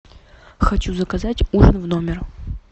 хочу заказать ужин в номер